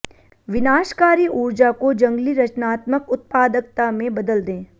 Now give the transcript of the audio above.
विनाशकारी ऊर्जा को जंगली रचनात्मक उत्पादकता में बदल दें